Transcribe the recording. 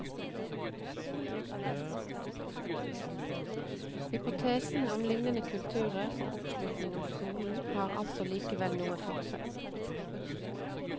Hypotesen om lignende kulturer og oppslutning om skolen har altså likevel noe for seg.